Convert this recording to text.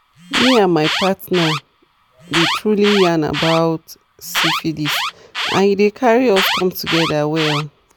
me and my partner the truely yarn about syphilis and e e dey carry us come together well